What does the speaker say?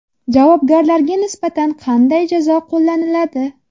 Javobgarlarga nisbatan qanday jazo qo‘llaniladi?.